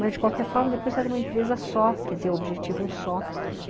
Mas, de qualquer forma, depois era uma empresa só, quer dizer, objetivo um só.